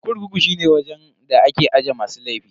Kurkuku shine wajen da ake aje masu laifi.